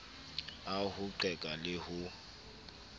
a ho qeka le ho